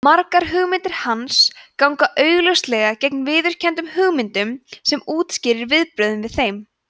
margar hugmyndir hans ganga augljóslega gegn viðteknum hugmyndum sem útskýrir viðbrögðin við þeim